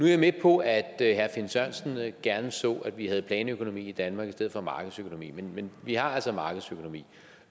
jeg med på at herre finn sørensen gerne så at vi havde planøkonomi i danmark i stedet for markedsøkonomi men vi har altså markedsøkonomi